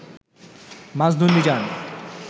Majnun Mizan